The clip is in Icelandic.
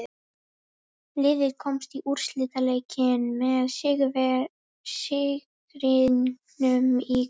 Liðið komst í úrslitaleikinn með sigrinum í kvöld.